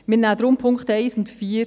Wir nehmen deshalb die Punkte 1–4 an.